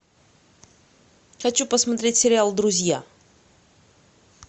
хочу посмотреть сериал друзья